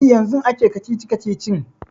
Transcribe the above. E, yanzun ake kacici-kacicin.